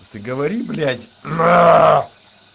ты говори блять на